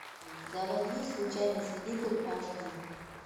заводи случайный свидетель аш ди